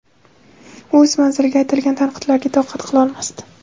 u o‘z manziliga aytilgan tanqidlarga toqat qilolmasdi.